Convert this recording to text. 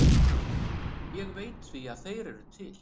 Ég veit því að þeir eru til.